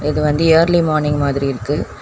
இது வந்து early morning மாதிரி இருக்கு.